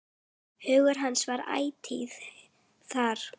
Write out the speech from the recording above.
Hugur hans var ætíð þar.